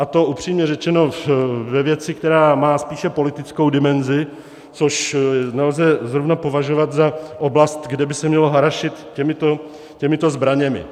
A to upřímně řečeno ve věci, která má spíše politickou dimenzi, což nelze zrovna považovat za oblast, kde by se mělo harašit těmito zbraněmi.